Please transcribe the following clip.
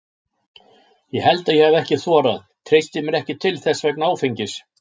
Ég held að ég hafi ekki þorað, treysti mér ekki til þess vegna áfengis.